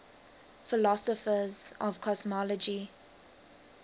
philosophers of cosmology